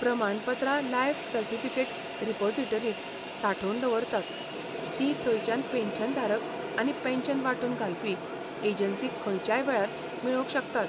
प्रमाणपत्रां life certificate रिपोसिटरींत सांठोवन दवरतात, तीं थंयच्यान पॅन्शनधारक आनी पॅन्शन वांटून घालपी एजंसी खंयच्याय वेळार मेळोवंक शकतात.